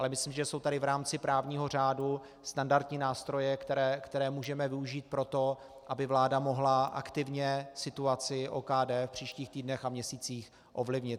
Ale myslím, že jsou tady v rámci právního řádu standardní nástroje, které můžeme využít pro to, aby vláda mohla aktivně situaci OKD v příštích týdnech a měsících ovlivnit.